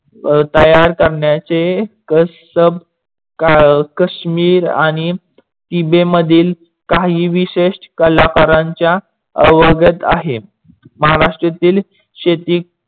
तयार करण्याचे काश्मीर आणि तिबे मधील काही विशेस कलाकारांच्या अवगत आहे. महाराष्ट्रातील शेती